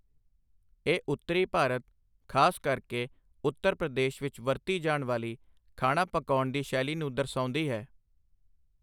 ਇਹ ਉੱਤਰੀ ਭਾਰਤ, ਖ਼ਾਸ ਕਰਕੇ ਉੱਤਰ ਪ੍ਰਦੇਸ਼ ਵਿੱਚ ਵਰਤੀ ਜਾਣ ਵਾਲੀ ਖਾਣਾ ਪਕਾਉਣ ਦੀ ਸ਼ੈਲੀ ਨੂੰ ਦਰਸਾਉਂਦੀ ਹੈ।